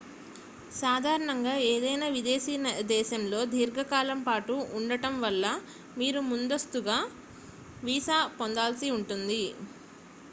సాధారణంగా ఏదైనా విదేశీ దేశంలో దీర్ఘకాలం పాటు ఉండటం వల్ల మీరు ముందస్తుగా వీసా పొందాల్సి ఉంటుంది